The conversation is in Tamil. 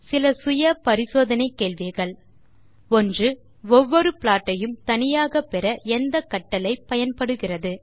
சில சுய பரிசோதனை கேள்விகள் 1ஒவ்வொரு ப்ளாட் ஐயும் தனியாக பெற எந்த கட்டளை பயன்படுகிறது